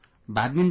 Badminton